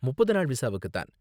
முப்பது நாள் விசாவுக்கு தான்.